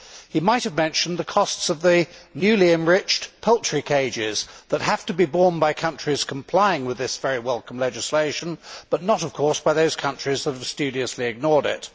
He might have mentioned the costs of the new enriched poultry cages that have to be borne by countries complying with this very welcome legislation but not, of course, by those countries that have studiously ignored it.